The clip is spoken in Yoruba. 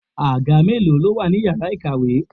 Àga mélòó ló wà ní ìyára ìkàwé?